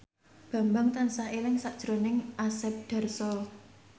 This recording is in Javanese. Bambang tansah eling sakjroning Asep Darso